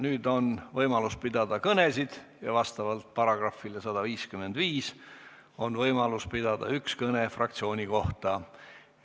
Nüüd on võimalus pidada kõnesid, vastavalt §-le 155 on võimalus pidada üks kõne fraktsiooni kohta.